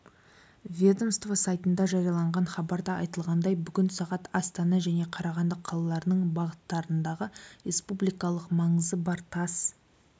ведомство сайтында жарияланған хабарда айтылғандай бүгін сағат астана және қарағанды қалаларының бағыттарындағы республикалық маңызы бар тас